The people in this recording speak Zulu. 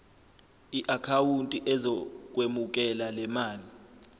iakhawunti ezokwemukela lemali